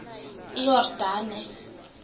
iyordane